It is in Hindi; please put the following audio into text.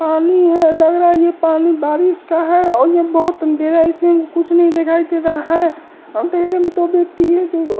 पानी है लग रहा है ये पानी बारिश का है और ये बोहोत अंधेरा है इसलिए की कुछ नहीं दिखाई दे रहा है अंधेरे में दो व्यक्ति एक जग --